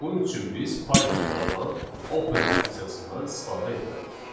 Bunun üçün biz Pythonda olan open funksiyasından istifadə etməliyik.